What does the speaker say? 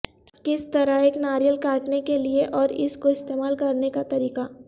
کس طرح ایک ناریل کاٹنے کے لئے اور اس کو استعمال کرنے کا طریقہ